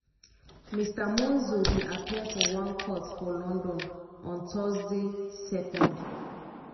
mr monzo bin appear for one court for london on thursday 2